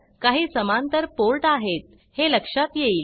काही समांतर पोर्ट आहेत हे लक्षात येईल